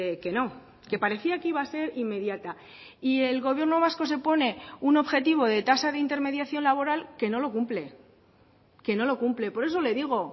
que no que parecía que iba a ser inmediata y el gobierno vasco se pone un objetivo de tasa de intermediación laboral que no lo cumple que no lo cumple por eso le digo